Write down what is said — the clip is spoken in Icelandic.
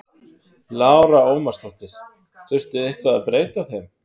Lára Ómarsdóttir: Þurfti eitthvað að breyta þeim?